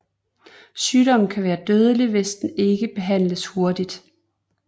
Sygdommen kan være dødelig hvis den ikke behandles hurtigt